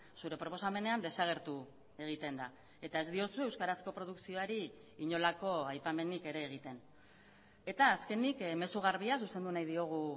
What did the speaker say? zure proposamenean desagertu egiten da eta ez diozue euskarazko produkzioari inolako aipamenik ere egiten eta azkenik mezu garbia zuzendu nahi diogu